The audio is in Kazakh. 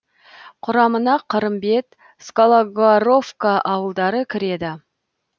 құрамына қырымбет скологоровка ауылдары кіреді